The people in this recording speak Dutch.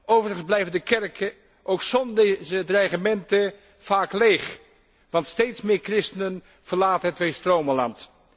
Overigens blijven de kerken ook zonder deze dreigementen vaak leeg, want steeds meer christenen verlaten het Tweestromenland.